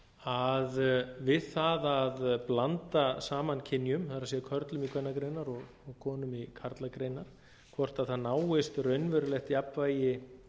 að við það að blanda saman kynjum það er körlum í kvennagreinar og konum í karlagreinar hvort það náist raunverulegt jafnvægi